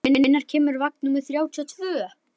Marísa, hvenær kemur vagn númer þrjátíu og tvö?